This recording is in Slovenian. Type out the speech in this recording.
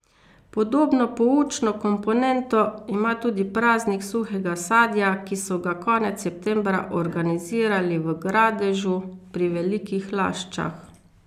Podobno poučno komponento ima tudi Praznik suhega sadja, ki so ga konec septembra organizirali v Gradežu pri Velikih Laščah.